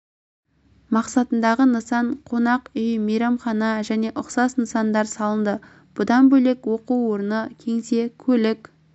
мақсатындағы нысан қонақ үй мейрамхана және ұқсас нысандар салынды бұдан бөлек оқу орны кеңсе көлік